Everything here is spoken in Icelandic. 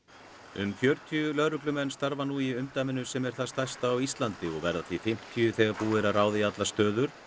um fjörutíu lögreglumenn starfa nú í umdæminu sem er það stærsta á Íslandi og verða því fimmtíu þegar búið er að ráða í allar stöður